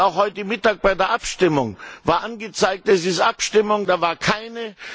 Und auch heute Mittag bei der Abstimmung war angezeigt Es ist Abstimmung, da war keine.